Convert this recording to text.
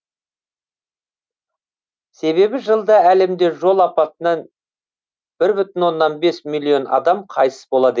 себебі жылда әлемде жол апатынан бір бүтін оннан бес миллион адам қайтыс болады екен